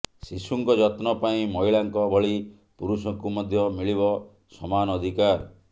ଶିଶୁଙ୍କ ଯତ୍ନ ପାଇଁ ମହିଳାଙ୍କ ଭଳି ପୁରୁଷଙ୍କୁ ମଧ୍ୟ ମିଳିବ ସମାନ ଅଧିକାର